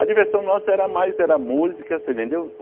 A diversão nossa era mais, era música, você entendeu?